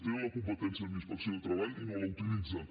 tenen la competència en la inspecció de treball i no la utilitzen